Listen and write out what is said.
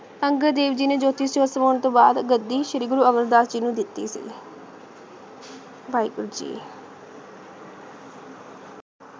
ਅੰਗਦ ਦੇਵ ਜੀ ਨੇ ਤੋਂ ਬਾਅਦ ਗੱਦੀ ਸ਼੍ਰੀ ਗੁਰੂ ਅਮਰ ਦਾਸ ਜੀ ਨੂ ਦਿਤੀ ਸੀ ਵਾਹੇ ਗੁਰੂ ਜੀ